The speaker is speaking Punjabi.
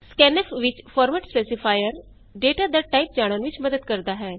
scanf ਵਿਚ ਫੋਰਮੇਟ ਸਪੇਸੀਫਾਇਰ ਡਾਟਾ ਦਾ ਟਾਈਪ ਜਾਣਨ ਵਿਚ ਮੱਦਦ ਕਰਦਾ ਹੈ